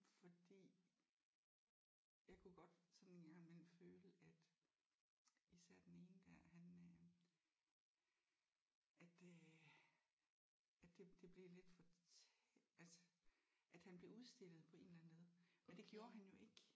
Fordi jeg kunne godt sådan en gang imellem føle at især den ene der han øh at øh at det det blev lidt for altså at han blev udstillet på en eller anden led og det gjorde han jo ikke